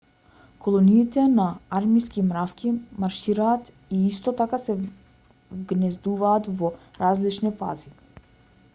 колониите на армиски мравки маршираат и исто така се вгнездуваат во различни фази